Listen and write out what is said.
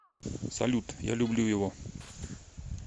салют я люблю его